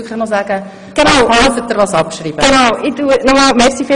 So können sich die Fraktionen dann entsprechend dazu äussern.